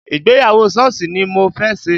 Ìgbéyàwó Sọ́ọ̀sì ni mo fẹ́ ṣe